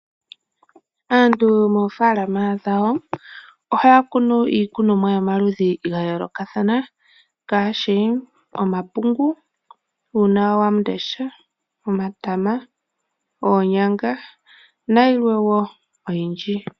Aantu moofaalama dhawo ohaya kunu iikunomwa yomaludhi gayoolokathana ngaashi, omapungu, uunawamundesha, omatama, oonyanga nayilwa wo oyindji.